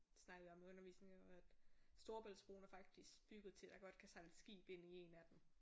Det snakkede vi om i undervisningen og at Storebæltsbroen er faktisk bygget til at der godt kan sejle et skib ind i en af dem